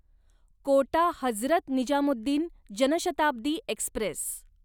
Kota Hazrat Nizamuddin Janshatabdi Express